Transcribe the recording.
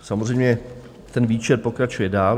Samozřejmě ten výčet pokračuje dál.